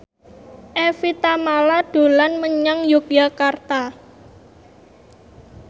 Evie Tamala dolan menyang Yogyakarta